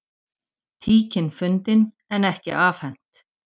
Tíkin fundin en ekki afhent